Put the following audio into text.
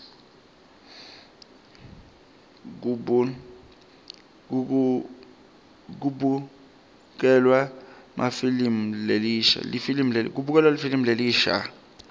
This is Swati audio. kubukelwa lifilimu lelisha